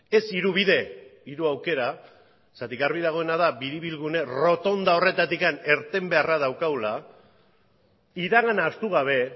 ez hiru bide hiru aukera zergatik garbi dagoena da biribilgune rotonda horretatik irten beharra daukagula iragana ahaztu gabe